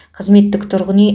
қызметтік тұрғын үй